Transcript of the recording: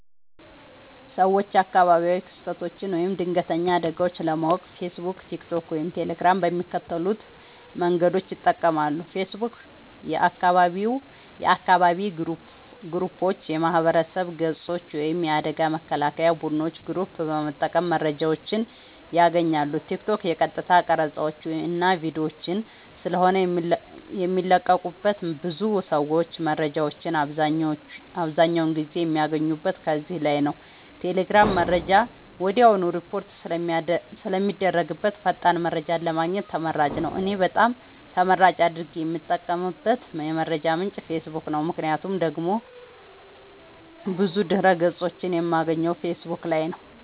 ሰወች አካባቢያዊ ክስተቶች ወይም ድንገተኛ አደጋወች ለማወቅ ፌሰቡክ ቲክቶክ ወይም ቴሌግራም በሚከተሉት መንገዶች ይጠቀማሉ ፌሰቡክ :- የአካባቢ ግሩፖች የማህበረሰብ ገፆች ወይም የአደጋ መከላከያ ቡድኖች ግሩፕ በመጠቀም መረጃወችን ያገኛሉ ቲክቶክ :- የቀጥታ ቀረፃወች እና ቪዲዮወች ስለሆነ የሚለቀቁበት ብዙ ሰወች መረጃወችን አብዛኛውን ጊዜ የሚያገኙት ከዚህ ላይ ነዉ ቴሌግራም :-መረጃ ወድያውኑ ሪፖርት ስለሚደረግበት ፈጣን መረጃን ለማግኘት ተመራጭ ነዉ። እኔ በጣም ተመራጭ አድርጌ የምጠቀምበት የመረጃ ምንጭ ፌሰቡክ ነዉ ምክንያቱም ደግሞ ብዙ ድህረ ገፆችን የማገኘው ፌሰቡክ ላይ ነዉ